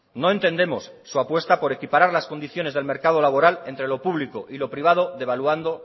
no entendemos su apuesta por equiparar las condiciones del mercado laboral entre lo público y lo privado devaluando